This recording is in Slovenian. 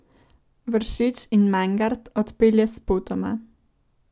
Vršič in Mangart odpelje spotoma.